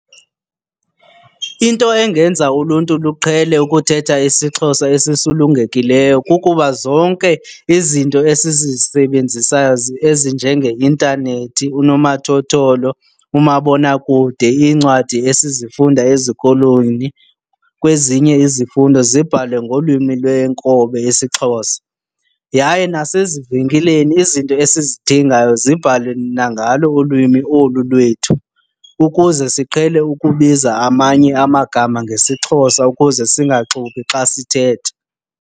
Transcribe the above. Into engenza uluntu luqhele ukuthetha isiXhosa esisulungekileyo kukuba zonke izinto esizisebenzisayo ezinjengeintanethi, unomathotholo, umabonakude, iincwadi esizifunda ezikolweni kwezinye izifundo zibhalwe ngolwimi lwenkobe isiXhosa. Yaye nasezivenkileni izinto esizidingayo zibhalwe nangalo ulwimi olu lwethu ukuze siqhele ukubiza amanye amagama ngesiXhosa ukuze singaxubi xa sithetha.